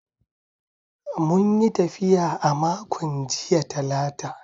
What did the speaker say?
Mun yi tafiya a makon jiya Talata.